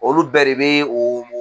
Olu bɛɛ de bɛ o